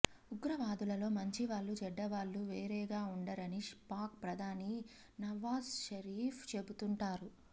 ఉగ్రవాదులలో మంచివాళ్ళు చెడ్డవాళ్ళు వేరేగా ఉండరని పాక్ ప్రధాని నవాజ్ షరీఫ్ చెపుతుంటారు